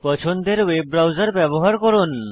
পছন্দের web browser ব্যবহার করুন